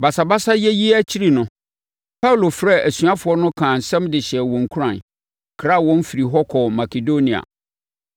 Basabasayɛ yi akyi no, Paulo frɛɛ asuafoɔ no kaa nsɛm de hyɛɛ wɔn nkuran, kraa wɔn firii hɔ kɔɔ Makedonia.